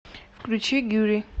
включи гюри